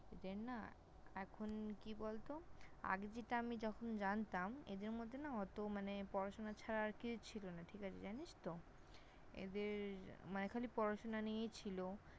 এদের না এখন কি বলত আগে যেটা আমি যখন জানতাম এদের মধ্যে না অত মানে পড়াশোনা ছাড়া আর কিছু ছিল না। ঠিক আছে। জানিস তো? এদের মানে খালি পড়াশোনা নিয়েই ছিল।